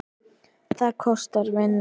Það kostar vinnu!